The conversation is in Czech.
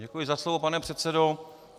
Děkuji za slovo, pane předsedo.